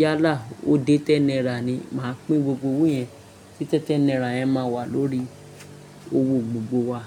Yálà ó dé ten naira ni, màá pín gbogbo owó yẹn tí ten ten naira yẹn máa wà lórí owó gbogbo wa.